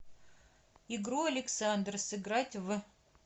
игру александр сыграть в